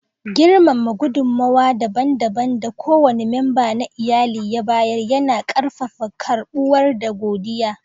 Girmama gudunmawa dabam dabam da kowane memba na iyali ya bayar, yana ƙarfafa karɓuwa da godiya.